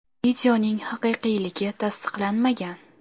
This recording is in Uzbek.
Videoning haqiqiyligi tasdiqlanmagan.